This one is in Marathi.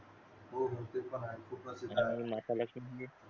हो गोष्टीत पण हाय खूप प्रसिद्ध हाय माता लक्ष्मीं